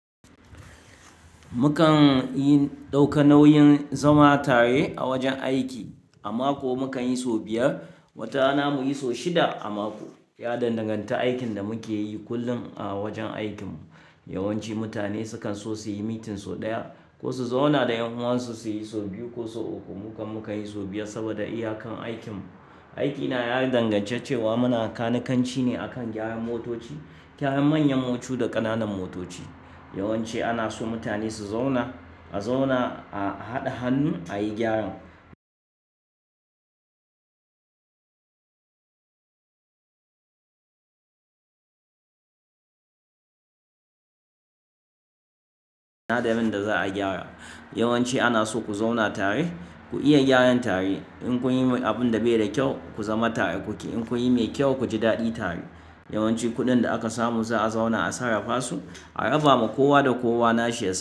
Mukan yin ɗauka nauyin zama tare a wajen aiki. A mako mukan yi so biyar, watayana muyi so shida a mako. Ya danganta aikin da muke yi kullum a wajen aikinmu. Yawanci mutane sukan so suyi meeting so ɗaya ko su zauna da ƴan uwansu suyi so biyu ko so uku. Mukan mukanyi so biyar saboda iyakan aikinmu. Aikina ya dangance cewa muna kanikanci ne a kan gyaran motoci, gyayan manyan mocu da ƙananan motoci. Yawanci ana so mutane su zauna, a zauna a haɗa hannu ayi gyaran. Daren da zaa gyara, yawanci ana so ku zauna tare, ku iya gyaran tare. In kun yi abin da bai da kyau ku zama tare kuke, in kun yi mai kyau ku ji daɗi tare. Yawanci kuɗin da aka samu za'a zauna a sarrafa su, a raba ma kowa da kowa nashi yasan.